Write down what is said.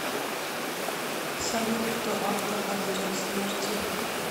салют кто автор орудия смерти